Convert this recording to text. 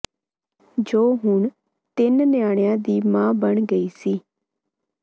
ਜੋ ਹੁਣ ਤਿੰਂਨ ਨਿਆਣਿਆ ਦੀ ਮਾਂ ਬਣ ਗਈ ਸੀ